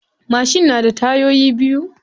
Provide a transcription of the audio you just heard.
Mashin na da tayoyi biyu.